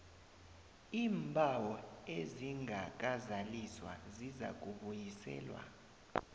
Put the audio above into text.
iimbawo ezingakazaliswa zizakubuyiselwa